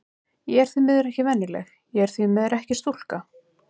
Ég er því miður ekki venjuleg, og ég er því miður ekki stúlka.